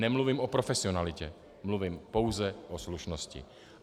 Nemluvím o profesionalitě, mluvím pouze o slušnosti.